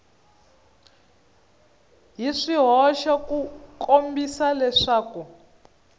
hi swihoxo ku kombisa leswaku